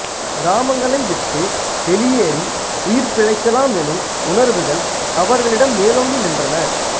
கிராமங்களை விட்டு வெளியேறி உயிர் பிழைக்கலாம் எனும் உணர்வுகள் அவர்களிடம் மேலோங்கி நின்றன